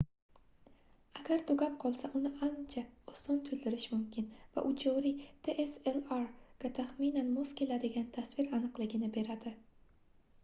agar tugab qolsa uni ancha oson toʻldirish mumkin va u joriy dslr ga taxminan mos keladigan tasvir aniqligini beradi